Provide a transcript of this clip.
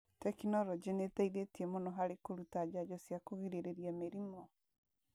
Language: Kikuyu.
Tekinolonjĩ nĩ ĩteithĩtie mũno harĩ kũruta njanjo cia kũgirĩrĩria mĩrimũ.